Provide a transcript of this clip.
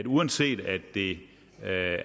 uanset at det